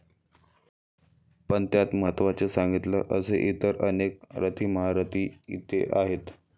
पण त्यात महत्त्वाचं सांगतील असे इतर अनेक रथीमहारथी इथे आहेत.